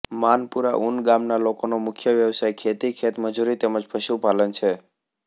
માનપુરા ઊન ગામના લોકોનો મુખ્ય વ્યવસાય ખેતી ખેતમજૂરી તેમ જ પશુપાલન છે